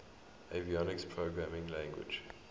avionics programming language